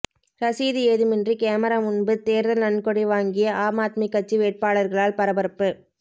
ரசீது ஏதுமின்றி கேமரா முன்பு தேர்தல் நன்கொடை வாங்கிய ஆம் ஆத்மி கட்சி வேட்பாளர்களால் பரபரப்பு